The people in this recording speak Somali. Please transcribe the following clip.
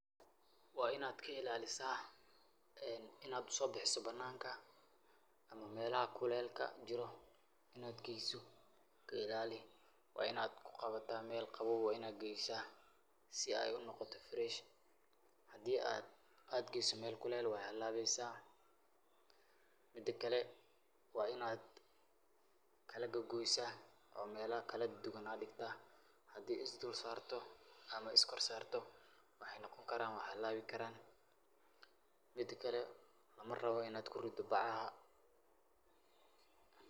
Waa inaad ka ilaalisa inaad u so bixisa bananka melaha kulelka jiro inaad geyso ka ilaali waa inaad ku qabata mel qabow waa inaad geysa si ay u noqoto fresh hadii aad geyso mel kulel wey halabeysa mida kale waa inaad kalagogoysa oo mela kaladuduwan aad digta hadii is dulsarto ama aad iskor sarto waxay noqon kara way halaabi karaan mida kale marabo inaad ku rido bacaha.